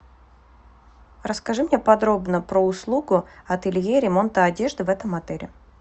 расскажи мне подробно про услугу ателье ремонта одежды в этом отеле